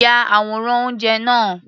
Ya àwòrán oúnjẹ náà.